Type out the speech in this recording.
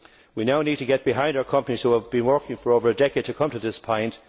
We now need to get behind our companies, who have been working for over a decade to come to this point.